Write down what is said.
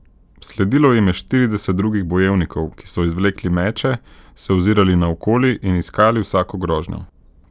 Sledilo jim je štirideset drugih bojevnikov, ki so izvlekli meče, se ozirali naokoli in iskali vsako grožnjo.